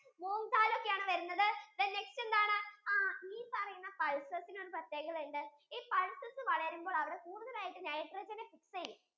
moong daal okay ആണ് വരുന്നത് then next enthanu ആ ഈ പറയുന്ന pulses ഇന് ഒരു പ്രത്ത്യേകത ഉണ്ട് pulses വളരുമ്പോൾ അവര് കൂടുതൽ ആയിട്ടു nitrogen നെ fix ചെയ്യും